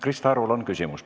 Krista Arul on küsimus.